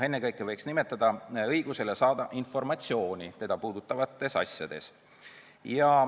Ennekõike võiks nimetada õigust saada informatsiooni inimest puudutavates asjades.